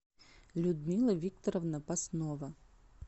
людмила викторовна паснова